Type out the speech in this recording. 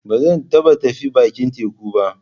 Ba zan tafi bakin teku ba.